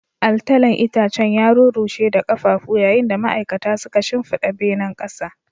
Altalan itacen ya rurrushe da ƙafafu, yayin da ma'aikata suka shimfiɗa benen ƙasa.